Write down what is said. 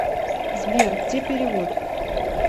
сбер где перевод